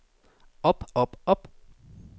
op op op